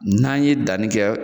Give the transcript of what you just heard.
N'an ye danni kɛ.